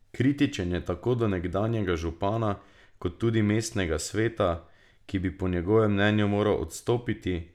Kritičen je tako do nekdanjega župana kot tudi mestnega sveta, ki bi po njegovem mnenju moral odstopiti.